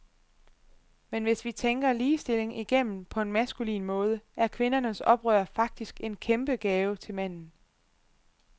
Men hvis vi tænker ligestilling igennem på en maskulin måde, er kvindernes oprør faktisk en kæmpe gave til manden.